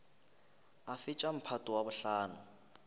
a fetša mphato wa bohlano